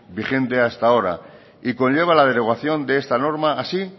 vigente hasta ahora y conlleva la derogación de esta norma así